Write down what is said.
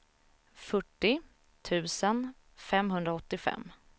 fyrtio tusen femhundraåttiofem